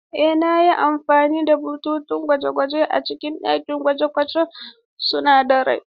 Ee, na yi amfani da bututun gwaji a cikin ɗakin gwaje-gwajen sunadarai.